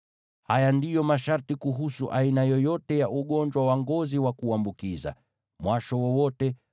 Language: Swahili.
Haya ndiyo masharti kuhusu aina yoyote ya ugonjwa wa ngozi wa kuambukiza, mwasho wowote,